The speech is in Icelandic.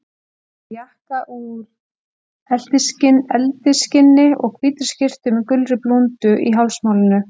Hann var í jakka úr eltiskinni og hvítri skyrtu með gulri blúndu í hálsmálinu.